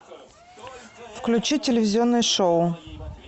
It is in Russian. включи телевизионное шоу